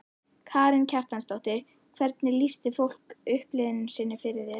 Karen Kjartansdóttir: Hvernig lýsti fólk upplifun sinni fyrir þér?